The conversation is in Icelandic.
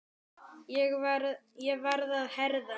Ég varð að herða mig.